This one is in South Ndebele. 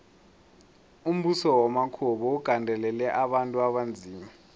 umbuso wamakhuwa bewugandelela abantu abanzima